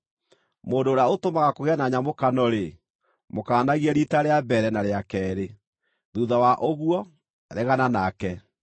Mũndũ ũrĩa ũtũmaga kũgĩe na nyamũkano-rĩ, mũkaanagie riita rĩa mbere, na rĩa keerĩ. Thuutha wa ũguo, regana nake.